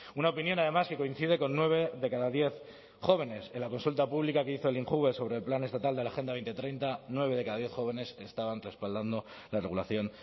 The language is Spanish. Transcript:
una opinión además que coincide con nueve de cada diez jóvenes en la consulta pública que hizo el injuve sobre el plan estatal de la agenda dos mil treinta nueve de cada diez jóvenes estaban respaldando la regulación